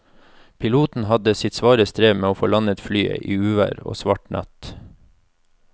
Piloten hadde sitt svare strev med å få landet flyet i uvær og svart natt.